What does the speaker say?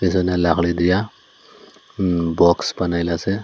এখানে লাকড়ি দিয়া উম বক্স বানাইলাসে।